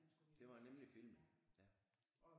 Det var nemlig filmen ja